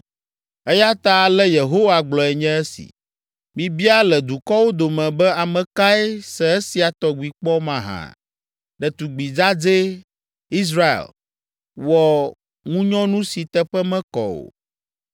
Eya ta ale Yehowa gblɔe nye esi: “Mibia le dukɔwo dome be, ame kae se esia tɔgbi kpɔ mahã? Ɖetugbi dzadzɛ, Israel, wɔ ŋunyɔnu si teƒe mekɔ o.